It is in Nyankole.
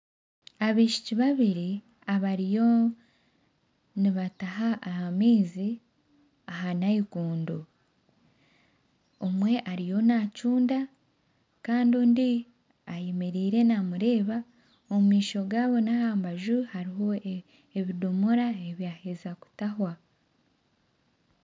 Abaishiki babiri bariyo nibataha amaizi aha naikondo, omwe ariyo naacunda kandi ondiijo ayemeriire ariho naamureeba, omu maisho gaabo n'aha mbaju hariho ebidoomora ebyaheza kutaahwa